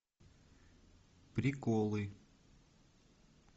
приколы